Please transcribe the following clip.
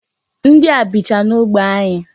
Ndị a bicha n'ógbè anyị.